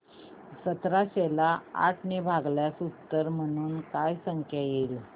सतराशे ला आठ ने भागल्यास उत्तर म्हणून काय संख्या येईल